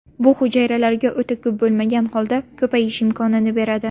Bu hujayralarga o‘ta ko‘p bo‘lmagan holda ko‘payish imkonini beradi”.